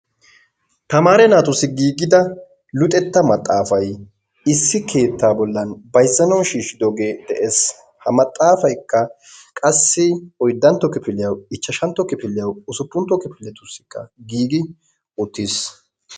Tamaare naatussi giigida luxettaa maxaafay issi keettaa bollan bayzzanawu shiishidoogee de'ees. Ha maxaafaykka qassi oyddanto kifiliyaawu ichchashantto kifiliyawu usuppuntto kifiletussika giigi uttiis.